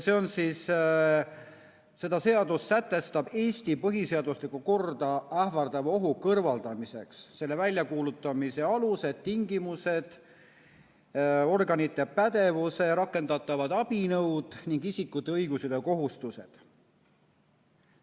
See seadus sätestab Eesti põhiseaduslikku korda ähvardava ohu kõrvaldamiseks selle väljakuulutamise aluse, tingimused, organite pädevuse, rakendatavad abinõud ning isikute õigused ja kohustused.